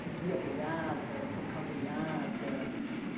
Seguia boiada, tocar boiada.